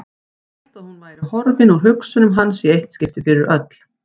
Hélt að hún væri horfin úr hugsunum hans í eitt skipti fyrir öll.